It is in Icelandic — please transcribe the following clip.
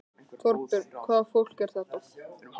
Þorbjörn: Hvaða fólk er þetta?